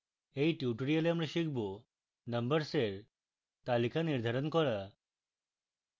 in tutorial আমরা শিখব: